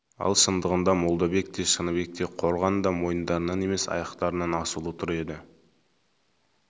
ал шындығында молдабек те шыныбек те қорған да мойындарынан емес аяқтарынан асулы тұр еді